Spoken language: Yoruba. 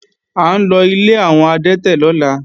À ńlọ ilé àwọn adẹ́tẹ̀ lọ́la